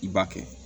I b'a kɛ